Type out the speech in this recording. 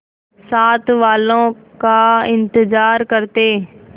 साथ वालों का इंतजार करते